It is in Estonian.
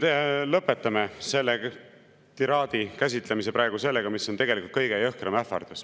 Lõpetan selle tiraadi käsitlemise praegu sellega, mis on tegelikult kõige jõhkram ähvardus.